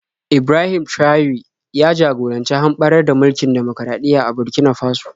Ibrahim Traore ya jagoranci hamɓarar da mulkin dimokuraɗiyya a Burkina Faso.